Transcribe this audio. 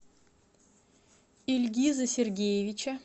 ильгиза сергеевича